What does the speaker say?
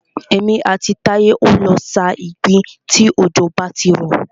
Èmi àti Táyé o lọ sa ìgbín tí òjò bá ti rọ̀.